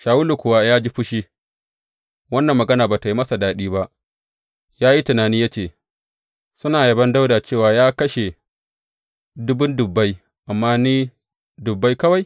Shawulu kuwa ya ji fushi, wannan magana ba tă yi masa daɗi ba, ya yi tunani ya ce, Suna yabon Dawuda cewa ya kashe dubun dubbai amma ni dubbai kawai.